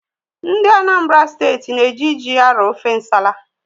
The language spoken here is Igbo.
Ndị Anambra Steeti na-eji ji arọ ofe nsala